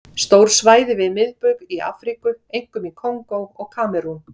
Stór svæði við miðbaug í Afríku, einkum í Kongó og Kamerún.